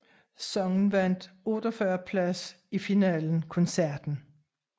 Sangen vandt 48 plads i finalen koncerten